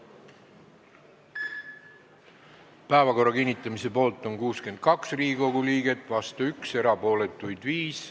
Hääletustulemused Päevakorra kinnitamise poolt on 62 Riigikogu liiget, vastu on 1, erapooletuks jäi 5.